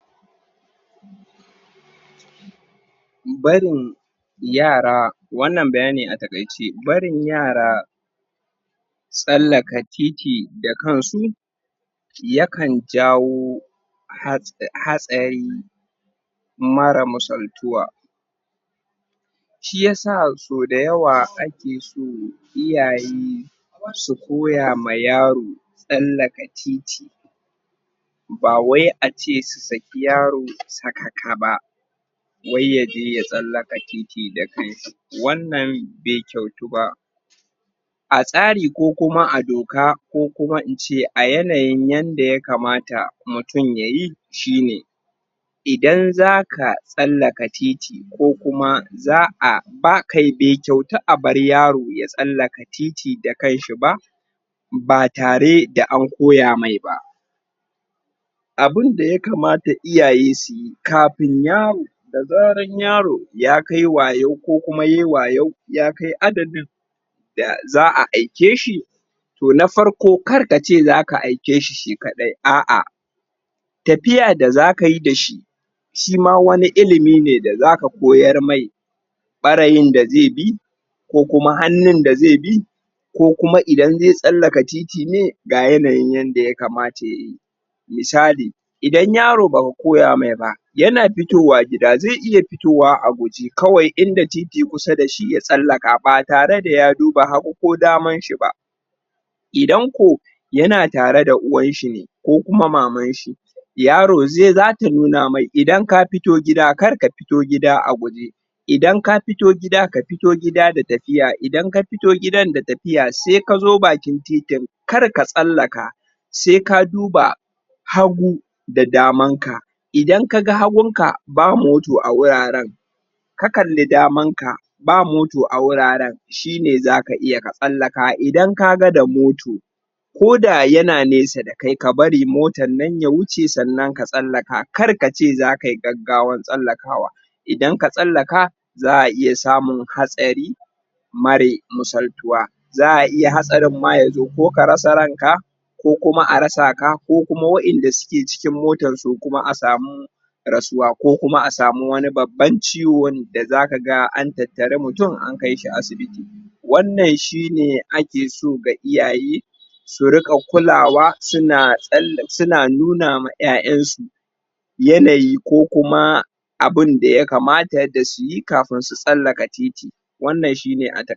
barin yara wannan bayani a takaice barin yara sallaka titi da kan su ya kan jawo hatsari mara masaltuwa shi yasa so dawaya ake so iyayi sukoya ma yaro sallaka titi ba wai a ce su saki yaro sakaka b wai yaje ya sallakatiti dakan shi wannan bai kyautu ba a tsari ko kuma a doka ko kuma ince a yanayi yanda ya kamata mutum ya yi shi ne idan zaka sallaka titi ko kuma za'a ba kai bai kyautu a bar yaro ya sallaka titi da kan shi ba ba tare da an koya mai ba abin da ya kamata iyaye su yi kafin yaro da zara yaro ya kaiwayo ko kuma yayi wayo ya kai adadin da za'a aike shi toh na farko karkace za ka aike shi shi kadai a'a tafiya da za ka yi da shi shi ma wani ilimi ne da za ka koyar mai bareyin da zai bi ko kuma hannun da zai bi ko kuma idan zai sallaka titi ne ga yanayin yanda ya kamata ya yi misali idan yaro ba ka koya me ba yana fitowa gida yana iya fitowa a guje kawai in da titi kusa da shi ya tsalaka ba tare da ya duba hagu ko daman shi ba idan ko yana tare da uwan shi ne ko kuma maman shi yaro zata nuna mai in ka fito gida kar ka fito gida a guje idan ka fito gida ka fito gida da tafiya idan ka fito gidan da tafiya sai ka zo bakin titin kar ka tsalake sai ka duba hagu da daman ka idan ka ga hagun ka ba moto a wuraren ka kali daman ka ba moto a wuraren shi ne za ka iya katsalaka idan ka ga da moto ko da yana nesa da kai ka barimotan nan ya wuce sannan ka tsalaka kar ka ce za ka yi gaggawan tsalakawa ba idan ka tslaka za'a iya samun hatsari mare misaltuwa za'a iya hatsarin ma ya zo ko ka ratsa rai'n ka ko kuma a ratsa ka ko kuma wayanda suke cikin motan su kuma a samu ratsuwa ko kuma a samu wani babban ciwon da za ka ga an tattari mutum an kaishi asibiti wannan shi ne ake so ga iyayi su rika kulawa su na nuna ma 'ya'yan su yanayi ko kuma abin da ya kamata su yikafin su tsalaka titi wannan shi ne a